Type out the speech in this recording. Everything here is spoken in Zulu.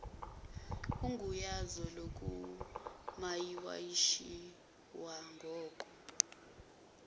ugunyazo lokumayinawakhishwa ngoko